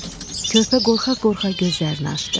Körpə qorxa-qorxa gözlərini açdı.